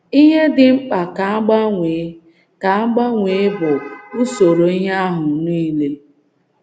Ihe dị mkpa ka a gbanwee ka a gbanwee bụ usoro ihe ahụ um nile.